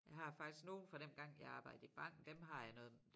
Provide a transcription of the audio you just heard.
Jeg har faktisk nogle fra dengang jeg arbejdede i banken dem har jeg noget